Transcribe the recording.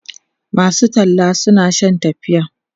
masu talla suna Shan tafiya